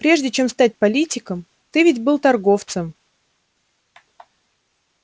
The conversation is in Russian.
прежде чем стать политиком ты ведь был торговцем